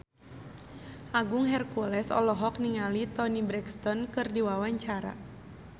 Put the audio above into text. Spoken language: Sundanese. Agung Hercules olohok ningali Toni Brexton keur diwawancara